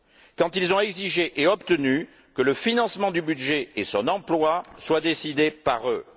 Quand ils ont exigé et obtenu que le financement du budget et son emploi soient décidés par eux.